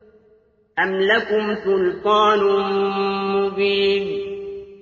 أَمْ لَكُمْ سُلْطَانٌ مُّبِينٌ